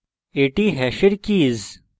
এটি hash keys